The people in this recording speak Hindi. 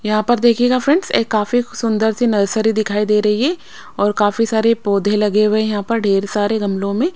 यहां पर देखिएगा फ्रेंड्स एक काफी सुंदर सी नर्सरी दिखाई दे रही है और काफी सारे पौधे लगे हुए हैं यहां पर ढेर सारे गमलों में।